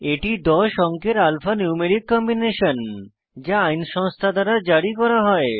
এটি 10 অঙ্কের alphanumeric combination যা আইন সংস্থা দ্বারা জারি করা হয়